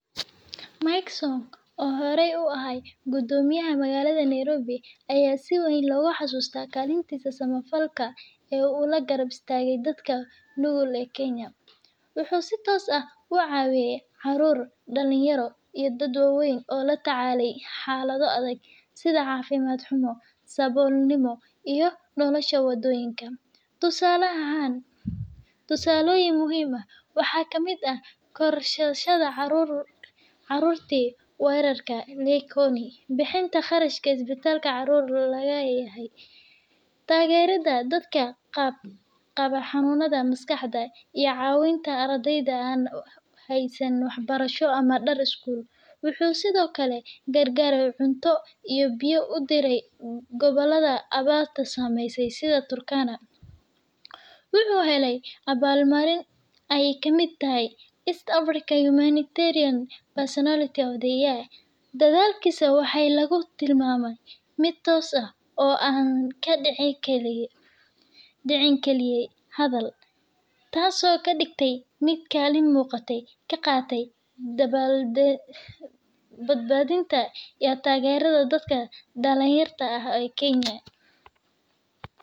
Maysok oo hore u ahay gudomiyaha magalada naribo aya sii waan loga xasustah galinta sama falka aa ula garab istaga dadka nugul an kenya wuxu si toos ah u cawiya carur dalinkaro iyo dad wa waan oo la tacalayoh xalada adag, side cafimd xumo sawol nimo iyo nolosha wadoyinka, tusala ahan, tusala muhiim ah waxaa ka mid ah barashada carur carurti waarka bixinta qarashka isbatalka carur laga layahay, dadka qabo xanunyada maskaxda iyo cawinta ardayda haysanin waxbarasho ama dar iskul wuxu side okle gar gar cunto iyo biyo udira gowlada awarta samaysa side turkana, wuxu halay awarl marin ka mid tahay east african martiniyan of the year dadalkis waxa lagu tilmamah mid toos ah oo an ka dicikarin, dici kaliya hadal taas oo ka digta mid kalin muqatoh ka qata dabal bad badinta iyo tagarada dadka dalin yarta ah aa kenaya.